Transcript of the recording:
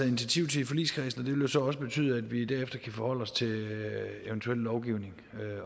initiativ til i forligskredsen det vil jo så også betyde at vi derefter kan forholde os til eventuel lovgivning